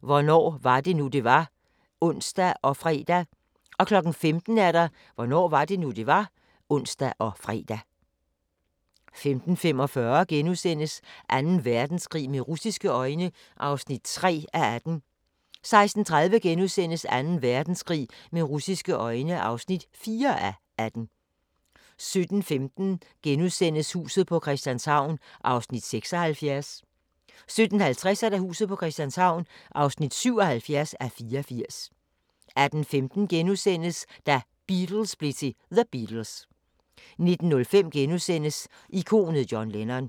Hvornår var det nu, det var? *(ons og fre) 15:00: Hvornår var det nu, det var? (ons og fre) 15:45: Anden Verdenskrig med russiske øjne (3:18)* 16:30: Anden Verdenskrig med russiske øjne (4:18)* 17:15: Huset på Christianshavn (76:84)* 17:50: Huset på Christianshavn (77:84)* 18:15: Da Beatles blev til The Beatles * 19:05: Ikonet John Lennon *